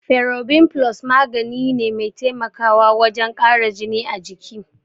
Ferobin Plus magani ne mai taimakawa wajen kara jini a jiki.